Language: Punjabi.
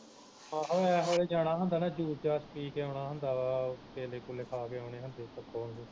ਆਹੋ ਇਹ ਵੇਲੇ ਜਾਣਾ ਹੁੰਦਾ ਮੈਂ juice ਜਾਸ ਜਾਸ ਪੀ ਕੇ ਆਉਣਾ ਹੁੰਦਾ ਵਾ ਕੇਲੇ ਕੁਲੇ ਖਾ ਕੇ ਆਉਣੇ ਹੁੰਦੇ ਪਕੌੜੇ